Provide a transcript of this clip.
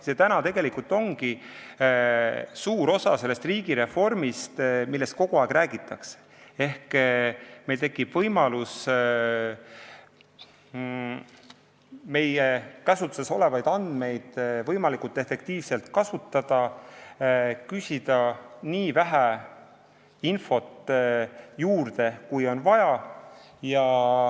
See tegelikult ongi suur osa sellest riigireformist, millest kogu aeg räägitakse, ehk meil tekib võimalus meie käsutuses olevaid andmeid võimalikult efektiivselt kasutada ning juurde küsida nii vähe infot, kui on võimalik.